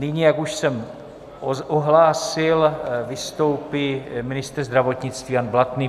Nyní, jak už jsem ohlásil, vystoupí ministr zdravotnictví Jan Blatný.